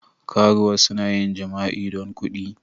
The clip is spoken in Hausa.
Karuwa suna yin jima'i don kuɗi.